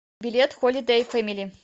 билет холидей фэмили